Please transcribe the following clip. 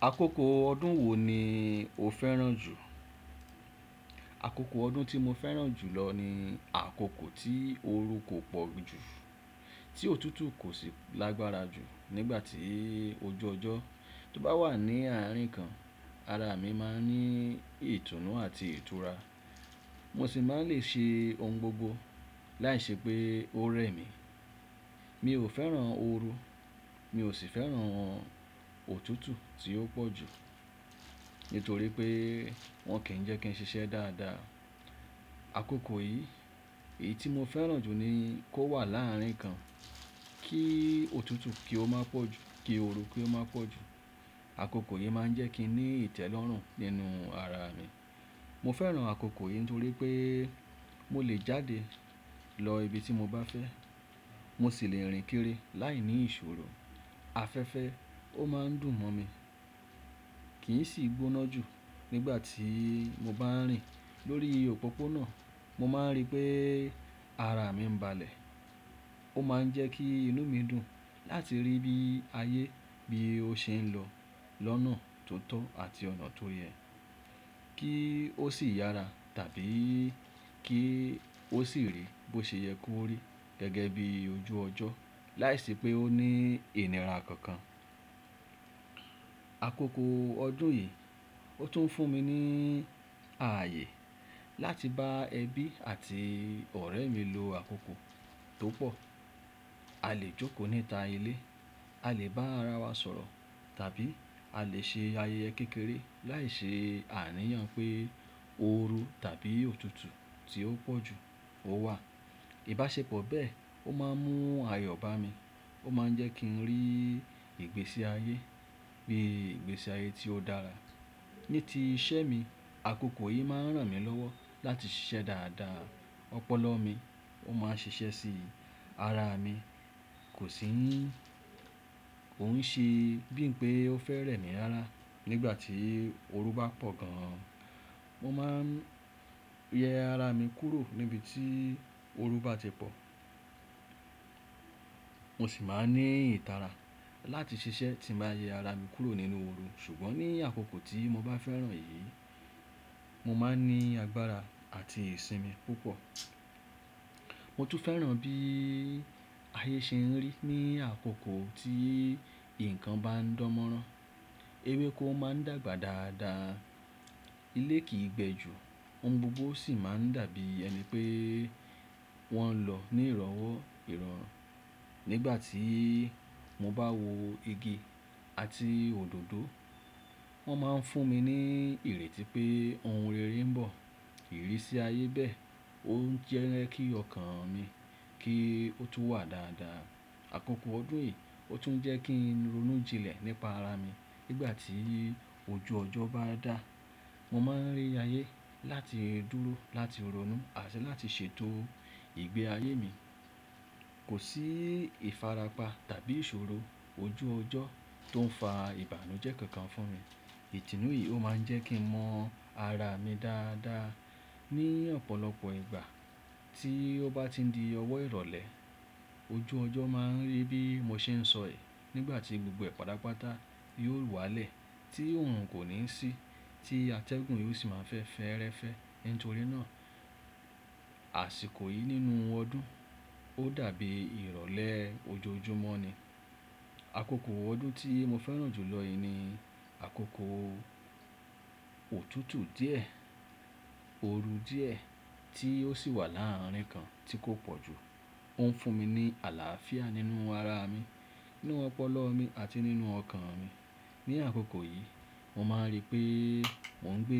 Akoko ọdún wo ni o fẹ́ràn jù? Akoko ọdún tí mo fẹ́ràn jù lọ ni àkókò tí ooru kò pọ̀ jù, tí òtútù kò sì lágbára jù. Nígbà tí ojú ọjọ́ tó bá wà ní àárín kan, ara mi ma ń ní ìtùnú àti ìtura. Mo sì máa ń lè ṣe ohun gbogbo láìṣe pé ó rẹ́ mi. Mi ò fẹ́ràn ooru, mi ò sì fẹ́ràn òtútù tí ó pọ̀ jù nítorí pé wọ́n kì í jẹ́ kí n ṣiṣẹ́ dáadáa. Akoko yìí, èyí tí mo fẹ́ràn jù ni kó wà láàárín kan kí òtútù kí ó má pọ̀ jù kí ooru kí ó má pọ̀ jù. Akoko yìí máa ń jẹ́ kí n ní ìtẹ́lọ́rùn nínú ara mi. Mo fẹ́ràn àkókò yìí nítorí pé mo lè jáde lọ ibi tí mo bá fẹ́. Mo sì lè rìn kiri láìní ìṣòro. Afẹ́fẹ́ ó má ń dùn mọ́ mi, kì í sì gbóná jù. Nígbà tí mo bá ń rìn lórí òpópónà, mo má ń rí pé ara mi ń balẹ̀. Ó má ń jẹ́ kí inú mi dùn láti rí bí ayé bí ó ṣe ń lọ lọ́nà tó tọ́ àti ọ̀nà tó yẹ, kí ó sì yára tàbí kí ó sì rí bí ó ṣe yẹ kó rí gẹ́gẹ́ bí ojú ọjọ́ láìṣi pé ó ní inira kankan. Akoko ọdún yìí, ó tún ń fún mi ní ààyè láti bá ẹbí àti ọ̀rẹ́ mi lo àkókò tó pọ̀. A lè jókòó níta ilé, a lè bá ara wa sọ̀rọ̀ tàbí a lè ṣe ayẹyẹ kékeré láìṣe àníyàn pé ooru tàbí òtútù tí ó pọ̀ jù ó wà. Ìbáṣepọ̀ bẹ́ẹ̀ ó má ń mú ayọ̀ bá mi, ó má ń jẹ́ kí n rí ìgbésí ayé bí ìgbésí ayé tí ó dára. Ní ti iṣẹ́ mi, àkókò yìí má ń ràn mí lọ́wọ́ láti ṣiṣẹ́ dáadáa. Ọpọlọ mi ó má ń ṣiṣẹ́ si. Ara mi kò sì ko ń ṣe bí i pé ó fẹ́ rẹ́ mi rárá. Nígbà tí ooru bá pọ̀ gan, mo má ń yẹ ara mi kúrò níbi tí ooru bá ti pọ̀. Mo sì má ń ní ìtara láti ṣiṣẹ́ tí mo bá yẹ ara mi kúrò nínú ooru. Ṣùgbọ́n ní àkókò tí mo bá fẹ́ràn yìí, mo má ń ní agbára àti ìsinmi púpọ̀. Mo tún fẹ́ràn bí ayé ṣe ń rí ní àkókò tí nǹkan bá ń dán mọ́rán. Ewékó má ń dàgbà dáadáa, ilé kì í gbẹ ju, ohun gbogbo sì má ń dàbí ẹni pé wọ́n lọ ní ìrọ́wó ìrọ̀. Nígbà tí mo bá wo igi àti òdòdó, wọ́n má ń fún mi ní ìrètí pé ohun rere ń bọ̀. Ìrísí ayé bẹ́ẹ̀ ó ń jẹ́ kí ọkàn mi kí ó tún wà dáadáa. Akoko ọdún yìí ó tún ń jẹ́ kí n ronú jinlẹ̀ nípa ara mi. Nígbà tí ojú ọjọ́ bá dá, mo má ń rí ayé láti dúró láti ronú àti láti ṣètò ìgbé ayé mi. Kò sí ìfarapa tàbí ìṣòro ojú ọjọ́ tó ń fa ìbànújẹ́ kankan fún mi. Ìtùnú yìí ó má ń jẹ́ kí n mọ̀ ara mi dáadáa ní ọ̀pọ̀lọpọ̀ ìgbà tí ó bá ti di ọwọ́ ìrọ̀lẹ́. Ojú ọjọ́ má ń rí bí mo ṣe ń sọ è nígbà tí gbogbo ẹ̀ pàtàpàta yóò wá lẹ̀ tí oorun kò ní sí tí atẹ́gùn yóò sì má fẹ́ fẹ́rẹ́fẹ́. Nítorí náà àsìkò yìí nínú ọdún ó dàbí ìrọ̀lẹ́ ojoojúmọ́ ni. Akoko ọdún tí mo fẹ́ràn jù lọ yìí ni àkókò òtútù díẹ̀, ooru díẹ̀ tí ó sì wà láàárín kan tí kò pọ̀ jù. Ó ń fún mi ní àlàáfíà nínú ara mi, nínú ọpọlọ mi àti nínú ọkàn mi. Ní àkókò yìí, mo má ń rí pé mò ń gbé